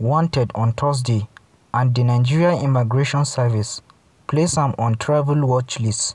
wanted on thursday and di nigeria immigration service place am on travel watchlist.